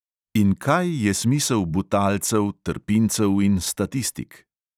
In kaj je smisel butalcev, trpincev in statistik?